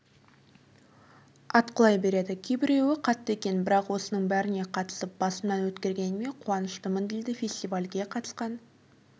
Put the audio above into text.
атқылай береді кейбіреуі қатты екен бірақ осының бәріне қатысып басымнан өткергеніме қуаныштымын дейді фестивальге қатысқан